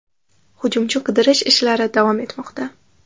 Hujumchi qidirish ishlari davom etmoqda.